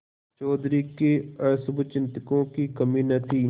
चौधरी के अशुभचिंतकों की कमी न थी